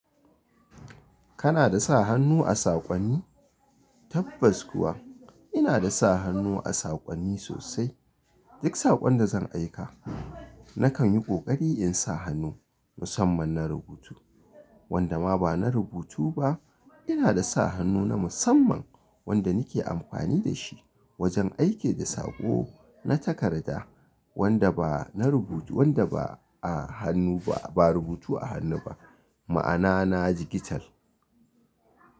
Kana da sa hannu a saƙonni? Tabbas kuwa ina da sa hannu a saƙonni sosai. Duk saƙon da zan aika nakan yi ƙoƙari in sa hannu musamman na rubutu. Wanda ma ba na rubutu ba ina da sa hannu na musamman wanda nake amfani da shi wajen aiki da saƙo na takarda wanda ba na rubutu, wanda ba a hannu ba, ba rubutu a hannu ba, ma'ana na jigital.